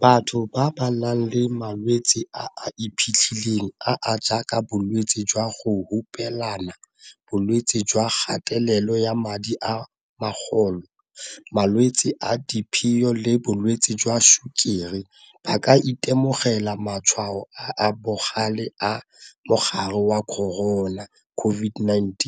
Batho ba ba nang le malwetse a a iphitlhileng a a jaaka bolwetse jwa go hupelana, bolwetse jwa kgatelelo ya madi a magolo, malwetse a diphio le bolwetse jwa tshukiri ba ka itemogela matshwao a a bogale a mogare wa corona COVID-19,